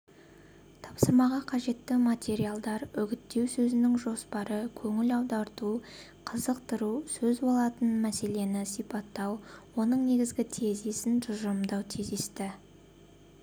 тапсырмаға қажетті материалдар үгіттеу сөзінің жоспары көңіл аударту қызықтыру сөз болатын мәселені сипаттау оның негізгі тезисін тұжырымдау тезисті